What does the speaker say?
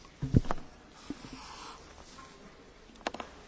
Čína je dôležitým hospodárskym a obchodným partnerom Európskej únie.